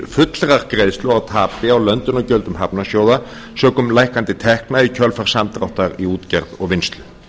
fullrar greiðslu á tapi á löndunargjöldum hafnarsjóða sökum lækkandi tekna í kjölfar samdráttar í útgerð og vinnslu